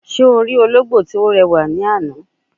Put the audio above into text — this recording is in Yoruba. Se o ri ologbo ti o rewa ni ana?